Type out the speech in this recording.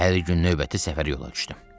Səhəri gün növbəti səfərə yola düşdüm.